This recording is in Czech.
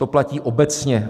To platí obecně.